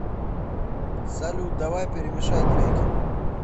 салют давай перемешай треки